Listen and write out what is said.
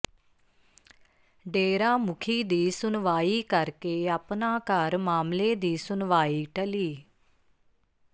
ਡੇਰਾ ਮੁਖੀ ਦੀ ਸੁਣਵਾਈ ਕਰਕੇ ਆਪਣਾ ਘਰ ਮਾਮਲੇ ਦੀ ਸੁਣਵਾਈ ਟਲੀ